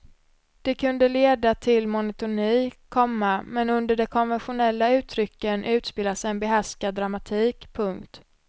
Det kunde leda till monotoni, komma men under de konventionella uttrycken utspelas en behärskad dramatik. punkt